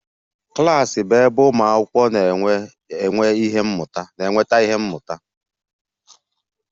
Klas bụ ebe ụmụ akwụkwọ na-enweta ihe mmụta